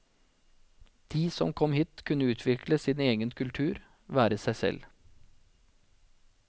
De som kom hit kunne utvikle sin egen kultur, være seg selv.